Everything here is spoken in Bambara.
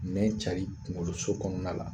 Nɛn cari kuŋoloso kɔɔna la